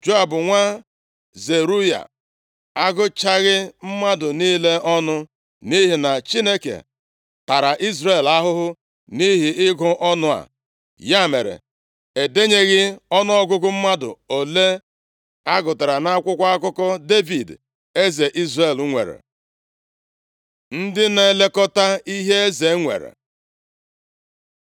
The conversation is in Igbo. Joab nwa Zeruaya, agụchaghị mmadụ niile ọnụ nʼihi na Chineke tara Izrel ahụhụ nʼihi ịgụ ọnụ a. Ya mere, e denyeghị ọnụọgụgụ mmadụ ole a gụtara nʼakwụkwọ akụkọ Devid eze Izrel nwere. Ndị na-elekọta ihe eze nwere